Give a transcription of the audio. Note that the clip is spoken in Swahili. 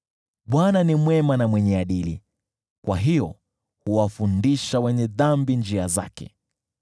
Bwana ni mwema na mwenye adili, kwa hiyo huwafundisha wenye dhambi njia zake.